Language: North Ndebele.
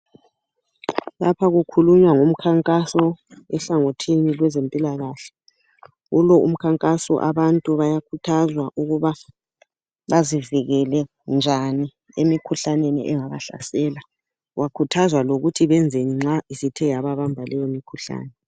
Lapha kukhuluywa ngomkhankaso ehlangothini lwezempilakahle. kulo umkhankaso abantu bayakhuthazwa ukuba bazivikele njani emkhuhlaneni engabahlasela. Bakhuthaza lokuthi benzeni nxa sebethe wababamba leyo mkhuhlane.